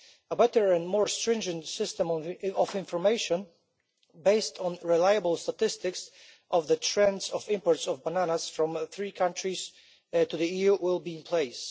A better and more stringent system of information, based on reliable statistics on the trends in imports of bananas from three countries to the EU, will be in place.